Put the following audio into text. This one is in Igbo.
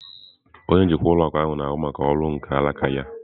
Onye njikwa ụlọ akụ na-ahụ maka ọrụ nke alaka ya.